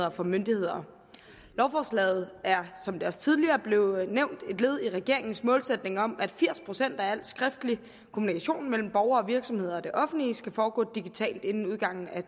og for myndighederne lovforslaget er som det også tidligere blev nævnt et led i regeringens målsætning om at firs procent af al skriftlig kommunikation mellem borgere og virksomheder og det offentlige skal foregå digitalt inden udgangen af